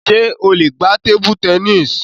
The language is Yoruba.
Ṣé o lè gbá tébú tẹníìsì?